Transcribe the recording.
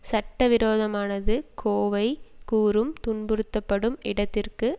சட்ட விரோதமானது கோவை கூறும் துன்புறுத்தப்படும் இடத்திற்கு